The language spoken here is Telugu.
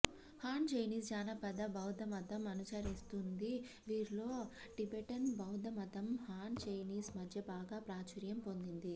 హాన్ చైనీస్ జానపద బౌద్ధమతం అనుచరిస్తుంది వీరిలో టిబెటన్ బౌద్ధమతం హాన్ చైనీస్ మధ్య బాగా ప్రాచుర్యం పొందింది